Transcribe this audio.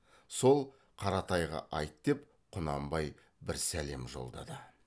сол қаратайға айт деп құнанбай бір сәлем жолдады